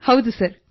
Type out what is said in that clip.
ಇಲ್ಲ ಸರ್